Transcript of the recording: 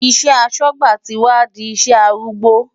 Iṣẹ́ aṣọ́gbà ti wá di iṣẹ́ arúgbó.